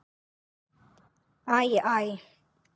Æ, æ!